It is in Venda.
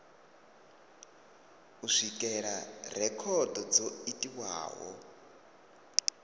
u swikelela rekhodo dzo itiwaho